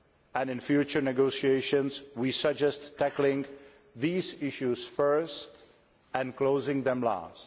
and in future negotiations we suggest tackling these issues first and closing them last.